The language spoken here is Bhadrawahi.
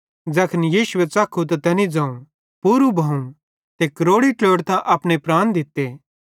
ज़ैखन यीशुए च़ख्खू त तैनी ज़ोवं पूरू भोवं ते क्रोड़ी ट्लोड़तां अपने प्राण दित्ते